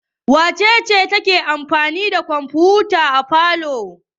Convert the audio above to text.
Wace ce take amfani da kwamfuta a falo?